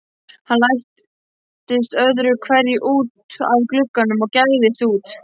Hann læddist öðru hverju út að glugganum og gægðist út.